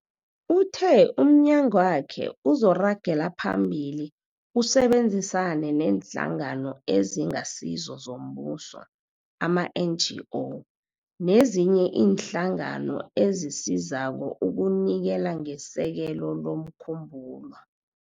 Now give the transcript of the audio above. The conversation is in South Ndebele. Uthe umnyagwakhe uzoragela phambili usebenzisane neeNhlangano eziNgasizo zoMbuso, ama-NGO, nezinye iinhlangano ezisizako ukunikela ngesekelo lomkhumbulo.